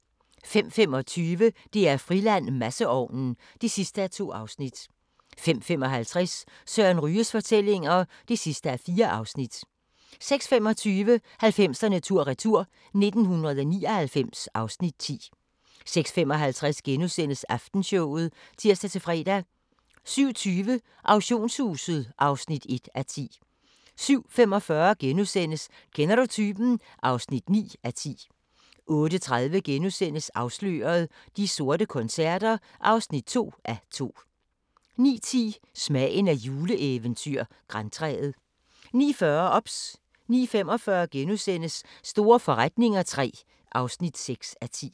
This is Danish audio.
05:25: DR-Friland: Masseovnen (2:2) 05:55: Søren Ryges fortællinger (4:4) 06:25: 90'erne tur-retur: 1999 (Afs. 10) 06:55: Aftenshowet *(tir-fre) 07:20: Auktionshuset (1:10) 07:45: Kender du typen? (9:10)* 08:30: Afsløret – De sorte koncerter (2:2)* 09:10: Smagen af et juleeventyr – Grantræet 09:40: OBS 09:45: Store forretninger III (6:10)*